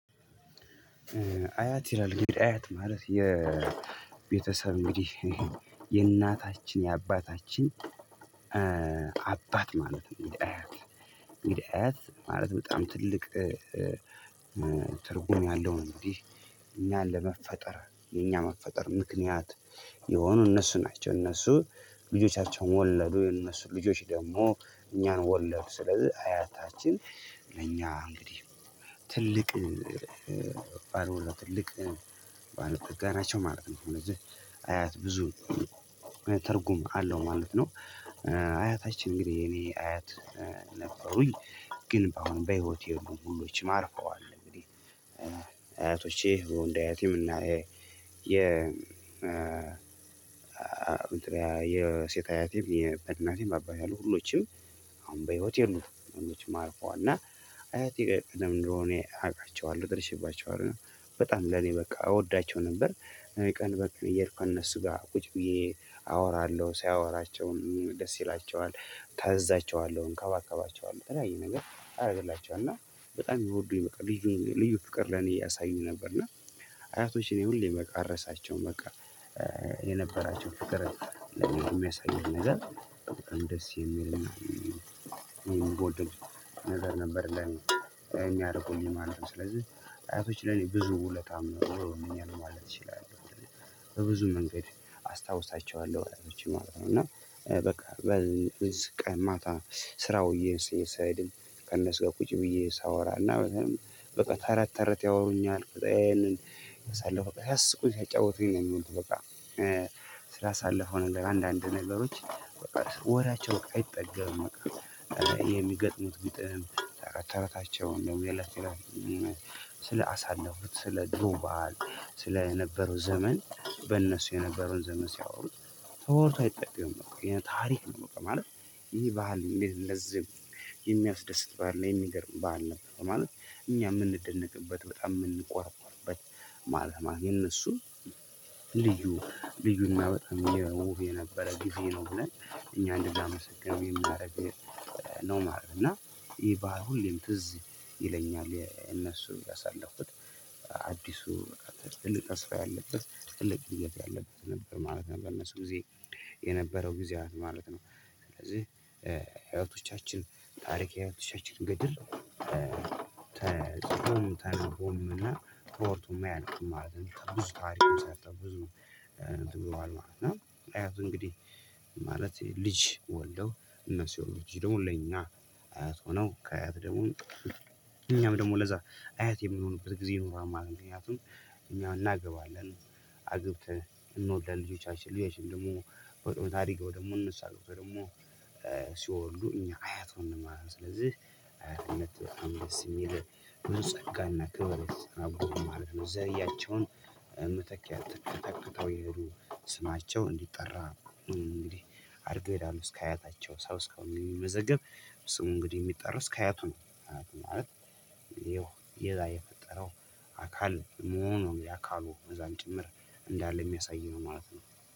አያት ይላል እንግዲህ አያት ማለት የቤተሰብ እንግዲህ የእናታችን የአባታችን አባት ማለት ነው። እንግዲህ አያት እንግዲህ አያት ማለት በጣም ትልቅ ትርጉም ያለውን እንዴ እኛን ለመፈጠር እኛ መፈጠር ምክንያት የሆኑ እነሱ ናቸው። እነሱ ልጆቻቸውን ወለዱ የነሱ ልጆች ደግሞ እኛን ወለድ ስለዚህ አያታችን ለእኛ እንግዲህ ትልቅ ትልቅም ባለጠጋ ናቸው ማለት ነው። እነዚህ አያት ብዙ ትርጉም አለው ማለት ነው። አያታችን እንግዲህ እኔ አያት ነበሩኝ ግን በአሁኑ በህይወት የሉም ሁሎችም አርፈዋል። እንግዲህ አያቶቼ ወንድ አያቴም እና የ የሴት አያቴም በእናቴም አባቴ አሉ ሁሎችም በህይወት የሉም አርፏል። እና አያቴ ቀደም ድሮ እኔ አውቃቸዋለሁ ደርሼባቸዋለሁ እና በጣም ለኔ በቃ እወዳቸው ነበር። ቀን በቀን እየሄድኩ እነሱ ጋር ቁጭ ብዬ አወራለሁ ሳወራቸውም ደስ ይላቸዋል እታዛቸዋለሁ እንከባከባቸዋለሁ ተለያየ ነገር አደርግላቸዋለሁ እና በጣም የሚወዱኝ በቃ ልዩ ፍቅር ለኔ ያሳዩኝ ነበር። እና አያቶች እኔ ሁሌ በቃ አረሳቸውም በቃ የነበራቸው ፍቅር የሚያሳይህ ነገር በጣም ደስ የሚል ምወደድ ነገር ነበር። የሚያርቁኝ ማለት ነው ስለዚህ አያቶች ለኔ ብዙ ውለታ ዉለዉኛል ማለት እችላለሁ። በብዙ መንገድ አስታውሳቸዋለሁ አያቶችን ማለት ነው። ቀን ማታ ስራውዬ ስሄድም ከነሱ ጋር ቁጭ ብዬ ሳወራና በቃ ተረት ተረት ያወሩኛል በቃ ያንን ሳለሁ በቃ ሲያስቁኝ ሲያጫውቱኝ ነው። የሚዉሉት በቃ ስላሳለፈው ነገር አንዳንድ ነገሮች በቃ ወሬያቸው አይጠገብም። በቃ የሚገጥሙት ግጥም ተረታቸውን ደግሞ የላት የላት ስለ አሳለፉት ስለ ድሮ ባህል ስለ የነበረው ዘመን በእነሱ የነበረውን ዘመን ሲያወሩት ተወርቶ አይጠገብም ታሪክ ነው። ማለት ይህ ባህል እንዴት ለዚህ የሚያስደስት ባህል ላይ የሚገርም ባህል ነው። ማለት እኛ የምንደነቅበት በጣም የምንቆርቆርበት ማለት ነው። የነሱ ልዩ ልዩና በጣም ውብ የነበረ ጊዜ ነው ብለን እኛ እንድናመሰነው የ ሚያርግ ነው ማለት ነው። እና ይሄ በሁሉም ትዝ ይለኛል የእነሱ ያሳለፉት ትልቅ ተስፋ ያለበት ጥልቅ እየት ያለበት ነበር ማለት ነው። በነሱ ጊዜ የነበረው ጊዜያት ማለት ነው ስለዚህ አያቶቻችን ታሪክ የአያቶቻችን ገድል ተፅፎም ተነቦም እና ተወርቶም የማያልቅ ማለት ነው ብዙ ታሪክም ሰርተው ብዙ እንትን ብሏል ማለት ነው። እና አያቱ እንግዲህ ማለት ልጅ ወልደው እነሱ የወለዱት ልጅ ደግሞ ለኛ አያት ሆነው ከአያት ደግሞ እኛም ደግሞ ለዛ አያት የሚሆኑበት ጊዜ ይኖራል ማለት ነው። ምክንያቱም እኛ እናገባለን አግብተን እንወልዳለን ልጆቻችን አሽልዬሽን ደግሞ በታሪክ ደግሞ እንመስላለን ደግሞ ሲወልዱ እኛ አያት ሆነን ማለት ነው። ስለዚህ አያትነት የሚል ብዙ ጸጋና ክብር አብሮ ማለት ነው። ዘይያቸውን መተኪያ ትተተተተው የሄዱ ስማቸው እንዲጠራ እንግዲህ አድርገህ ይላሉ እስከ አያታቸው ሰው እስከሆነ የሚመዘገብ ስሙ እንግዲህ የሚጠረስ ከአያቱ ነው። ማለት ይሄው የፈጠረው አካል መሆኑ የአካሉ መዛን ጭምር እንዳለ የሚያሳይ ነው ማለት ነው